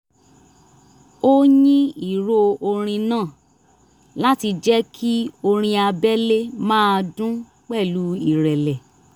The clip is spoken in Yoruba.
ó yín ìró orin náà láti jẹ́ kí orin abẹ́lé máa dun pẹ̀lú ìrẹ̀lẹ̀